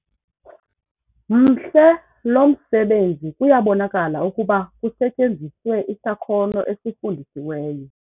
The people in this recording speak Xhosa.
Mhle lo msebenzi kuyabonakala ukuba kusetyenziswe isakhono esifundisiweyo.